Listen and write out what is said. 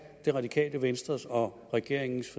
radikale venstres og regeringens